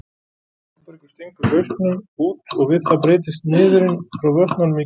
Þórbergur stingur hausnum út og við það breytist niðurinn frá vötnunum í gný.